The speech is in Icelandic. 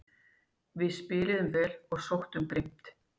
Við spiluðum vel og sóttum grimmt